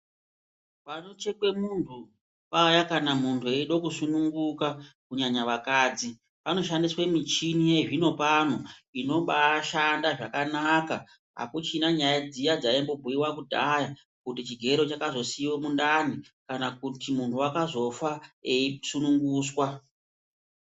Panochekwe muntu paya kana muntu eide kusununguka kunyanya vakadzi panoshandiswe michini yezvino pano inombashanda zvakanaka akuchina nyaya dziya dzaimbobhuyiwa kudhaya kuti chigero chakazosiyiwe mundani kana kuti muntu wakazofa eisununguswa.